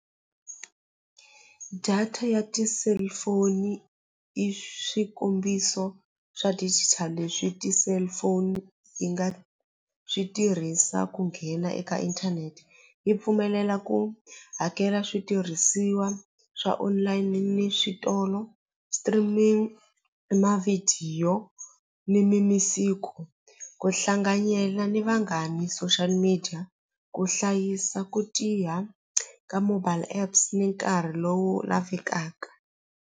Data ya ti-cellphone i swikombiso swa digital leswi ti-cellphone yi nga swi tirhisa ku nghena eka inthanete yi pfumelela ku hakela switirhisiwa swa online ni switolo streaming i mavhidiyo ni ku hlanganyela ni vanghani social media ku hlayisa ku tiya ka mobile apps ni nkarhi lowu nga fikaka.